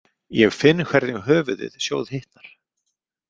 Ég finn hvernig höfuðið sjóðhitnar.